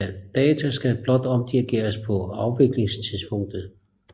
Data skal blot omdirigeres på afviklingstidspunktet